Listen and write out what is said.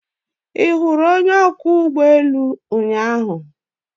Ị hụrụ onye ọkwọ ụgbọ elu ụnyaahụ?